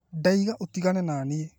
Ndauga ũtigane naniĩ